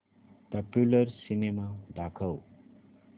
popular cinema दाखव